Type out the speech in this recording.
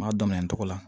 M'a daminɛ togo la